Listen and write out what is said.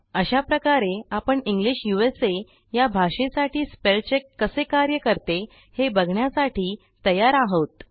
अशा प्रकारे आपणEnglish उसा या भाषेसाठी स्पेल चेक कसे कार्य करते हे बघण्यासाठी तयार आहोत